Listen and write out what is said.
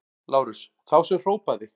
LÁRUS: Þá sem hrópaði!